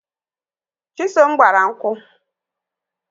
Chisom gbara nkwu